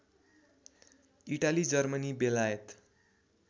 Italy Germany बेलायत